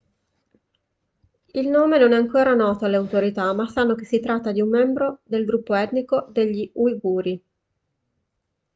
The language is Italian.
il nome non è ancora noto alle autorità ma sanno che si tratta di un membro del gruppo etnico degli uiguri